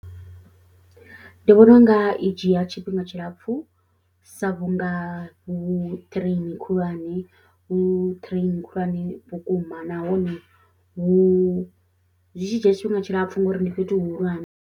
Ndi vhona u nga i dzhia tshifhinga tshilapfhu sa vhunga hu train khulwane, hu train khulwane vhukuma nahone hu zwi tshi dzhia tshifhinga tshilapf u ngori ndi fhethu hu hulwane.